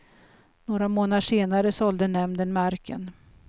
Några månader senare sålde nämnden marken.